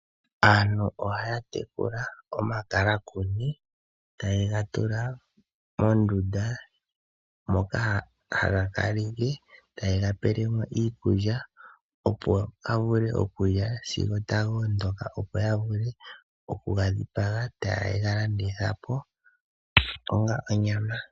Aantu ohaya te kula omakalakuni. Ta yega tula mondunda, moka haga kala taga pewa iikulya opo ga vule okulya sigo taga ondoka, opo ya vule oku gadhipaga, taye galanditha po onga onyama.